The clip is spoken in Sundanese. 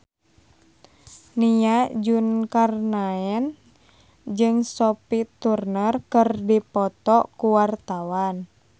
Nia Zulkarnaen jeung Sophie Turner keur dipoto ku wartawan